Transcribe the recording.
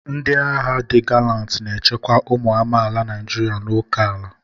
Ndị agha di galanti na-echekwa ụmụ amaala Naijiria na óké ala.